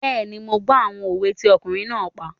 Bẹ́ẹ̀ni, mo gbọ́ àwọn òwe tí ọkùnrin náà pa